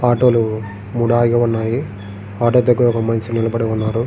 auto లు మూడు ఆగి ఉన్నాయి ఆటో దగ్గర ఒక మినిషి నిలబడి ఉన్నారు --